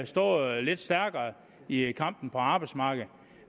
stået lidt stærkere i i kampen på arbejdsmarkedet